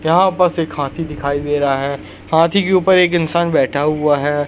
यहाँ बस एक हाथी दिखाई दे रहा हैं हाथी के ऊपर एक इंसान बैठा हुआ हैं।